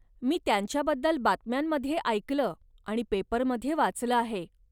मी त्यांच्याबद्दल बातम्यांमध्ये ऐकलं आणि पेपरमध्ये वाचलं आहे.